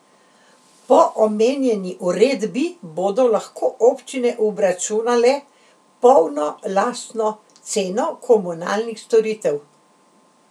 Po omenjeni uredbi bodo lahko občine obračunale polno lastno ceno komunalnih storitev.